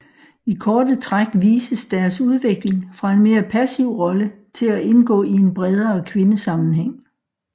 I korte træk vises deres udvikling fra en mere passiv rolle til at indgå i en bredere kvindesammenhæng